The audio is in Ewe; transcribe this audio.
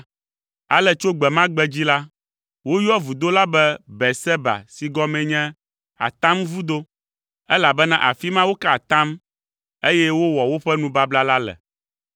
Ale tso gbe ma gbe dzi la, woyɔa vudo la be Beerseba si gɔmee nye “Atamvudo,” elabena afi ma woka atam, eye wowɔ woƒe nubabla la le.